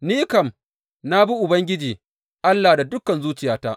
Ni kam na bi Ubangiji Allah da dukan zuciyata.